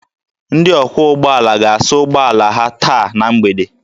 Ndị ọkwọ ụgbọala ga-asa ụgbọ ala ha taa na mgbede